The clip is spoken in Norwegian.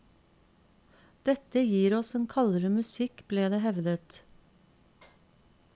Dette gir oss en kaldere musikk, ble det hevdet.